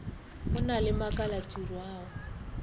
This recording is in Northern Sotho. go na le makalatiro ao